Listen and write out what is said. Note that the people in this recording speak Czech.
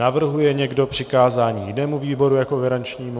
Navrhuje někdo přikázání jinému výboru jako garančnímu?